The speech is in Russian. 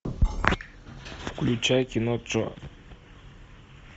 включай кино джо